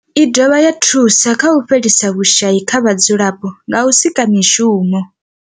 I dovha ya thusa u fhelisa vhushayi kha vhadzulapo nga u sika mishumo.